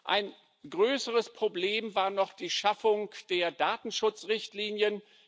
Ein größeres Problem war noch die Schaffung der Datenschutzrichtlinien.